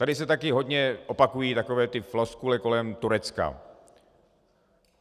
Tady se taky hodně opakují takové ty floskule kolem Turecka.